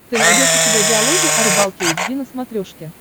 ты найдешь у себя диалоги о рыбалке эйч ди на смотрешке